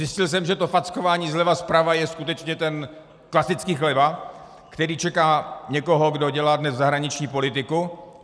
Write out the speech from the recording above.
Zjistil jsem, že to fackování zleva, zprava je skutečně ten klasický chleba, který čeká někoho, kdo dělá dnes zahraniční politiku.